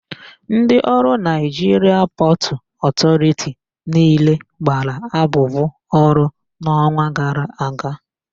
Ndị ọrụ Naịjiria Pọtụ Ọtọriti niile gbara abụbụ ọrụ n'ọnwa gara aga.